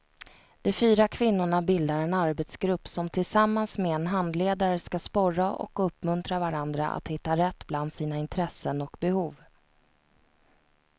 De fyra kvinnorna bildar en arbetsgrupp som tillsammans med en handledare ska sporra och uppmuntra varandra att hitta rätt bland sina intressen och behov.